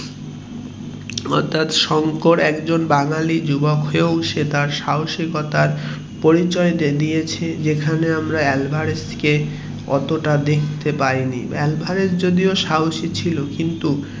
শংকর একজন বাঙালি যুবক কেও সে তার সাহসিকতার পরিচয়ে দিয়েছে যেখানে আমরা আলভেরাগ কে অতটাও দেখতে পাইনি আলভারেজ যদিও সাহসী ছিল কিন্তু